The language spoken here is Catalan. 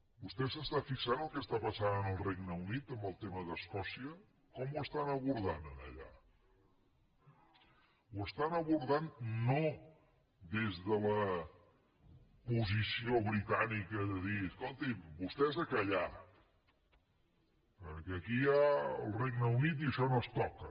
vostè s’està fixant en el que està passant en el regne unit amb el tema d’escòcia com ho estan abordant allà ho estan abordant no des de la posició britànica de dir escolti’m vostès a callar perquè aquí hi ha el regne unit i això no es toca